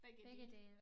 Begge dele